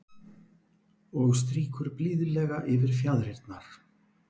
Og strýkur blíðlega yfir fjaðrirnar.